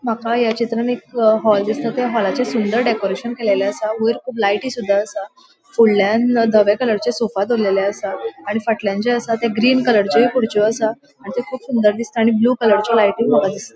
माका या चित्रानं एक हाल दिसता त्या हॉलचे सुंदर डेकोरैशन केलेले आसा वयर कुब लायटी आसा फूडल्यन धव्या कलरचे सोफ़ा दोरलेले आसा आणि फाटल्यान जे आस ते ग्रीन कलरचे खुरच्यो आसा आणि ते कुब सुंदर दिसता आणि ब्लू कलरची लायटी माका दिसता.